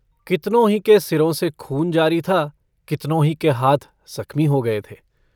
कितनों ही के सिरों से खून जारी था कितनों ही के हाथ ज़ख्मी हो गए थे।